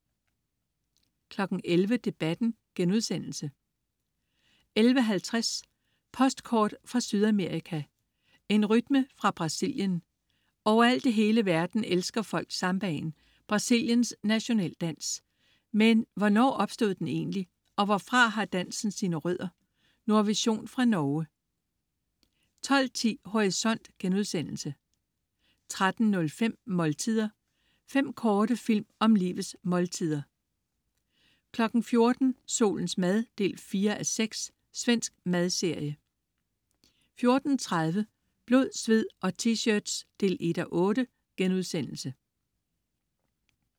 11.00 Debatten* 11.50 Postkort fra Sydamerika: En rytme fra Brasilien. Overalt i hele verden elsker folk sambaen, Brasiliens nationaldans, men hvornår opstod den egentlig, og hvorfra har dansen sine rødder? Nordvision fra Norge 12.10 Horisont* 13.05 Måltider. Fem korte film om livets måltider 14.00 Solens mad 4:6. Svensk madserie 14.30 Blod, sved og T-shirts 1:8*